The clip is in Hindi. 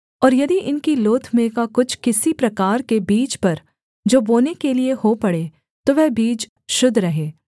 और यदि इनकी लोथ में का कुछ किसी प्रकार के बीज पर जो बोने के लिये हो पड़े तो वह बीज शुद्ध रहे